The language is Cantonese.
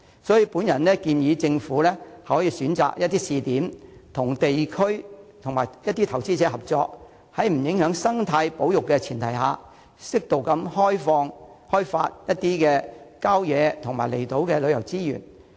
所以，我建議政府可選擇試點，與地區及投資者合作，在不影響生態保育的前提下，適度地開發郊野和離島的旅遊資源。